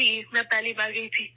جی ، میں پہلی بار گئی تھی